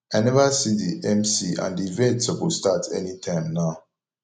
i never see the mc and the event suppose start anytime now